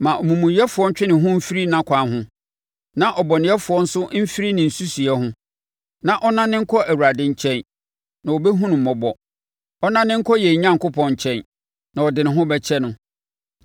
Ma omumuyɛfoɔ ntwe ne ho mfiri nʼakwan ho na ɔbɔnefoɔ nso mfiri ne nsusuiɛ ho. Ma ɔnnane nkɔ Awurade nkyɛn, na ɔbɛhunu no mmɔbɔ, ɔnnane nkɔ yɛn Onyankopɔn nkyɛn, na ɔde ne ho bɛkyɛ no.